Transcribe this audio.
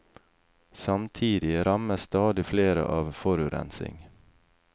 Samtidig rammes stadig flere av forurensing.